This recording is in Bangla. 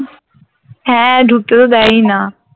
হ্যাঁ ঢুকতে তো দেয় ই না